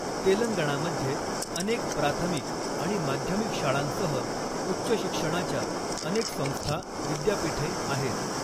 तेलंगणामध्ये अनेक प्राथमिक आणि माध्यमिक शाळांसह उच्च शिक्षणाच्या अनेक संस्था, विद्यापीठे आहेत.